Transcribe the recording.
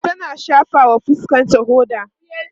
tana shafawa fuskanta hoda